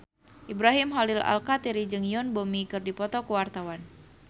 Ibrahim Khalil Alkatiri jeung Yoon Bomi keur dipoto ku wartawan